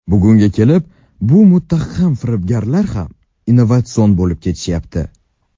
Bugunga kelib bu muttaham firibgarlar ham innovatsion bo‘lib ketishyapti.